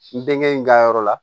N denkɛ in n ka yɔrɔ la